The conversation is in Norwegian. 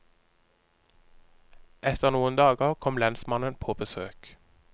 Etter noen dager kom lensmannen på besøk.